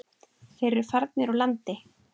Þeir eru farnir úr landi.